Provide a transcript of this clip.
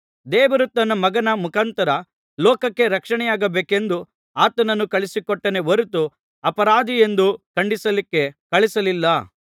ದೇವರು ತನ್ನ ಮಗನ ಮುಖಾಂತರ ಲೋಕಕ್ಕೆ ರಕ್ಷಣೆಯಾಗಬೇಕೆಂದು ಆತನನ್ನು ಕಳುಹಿಸಿಕೊಟ್ಟನೇ ಹೊರತು ಅಪರಾಧಿಯೆಂದು ಖಂಡಿಸಲಿಕ್ಕೆ ಕಳುಹಿಸಲಿಲ್ಲ